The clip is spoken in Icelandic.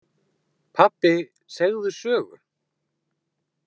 Pabbi segðu sögu.